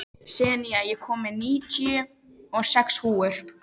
Senía, ég kom með níutíu og sex húfur!